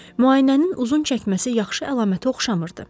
Müayinənin uzun çəkməsi yaxşı əlamətə oxşamırdı.